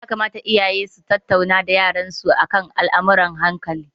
Ya kamata iyaye su tattauna da yaran su akan al'amurran hankali.